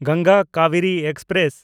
Ganga Kaveri express